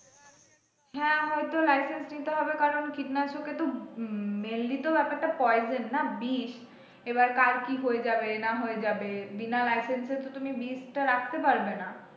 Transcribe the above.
হ্যাঁ হয়তো licence নিতে হবে কারণ কীটনাশকে তো mainly তো ব্যপার টা poison না বিষ এবার কারোর কি হয়ে যাবে না হয়ে যাবে বিনা licence এ তো তুমি বিষটা রাখতে পারবেনা।